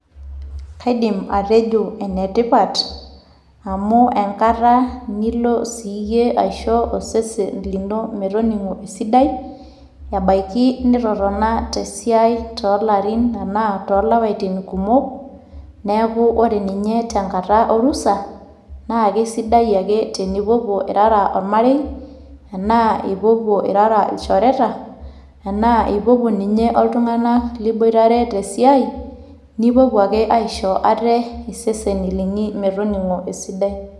Kaidim atejo enetipat, amu enkata nilo siyie aisho osesen lino metoning'o esidai, ebaiki nitotona tesiai tolarin enaa tolapaitin kumok, neeku ore ninye tenkata orusa, naa kesidai ake tenipuopuo irara ormarei, enaa ipuopuo irara ilchoreta, enaa ipuopuo ninye oltung'anak liboitare tesiai, nipuopuo ake aishoo iseseni linyi metoning'o esidai.